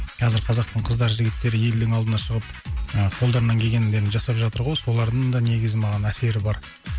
қазір қазақтың қыздар жігіттері елдің алдына шығып ыыы қолдарынан келгеннің бәрін жасап жатыр ғой солардың да негізі маған әсері бар